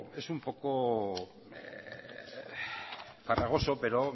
es un poco farragoso pero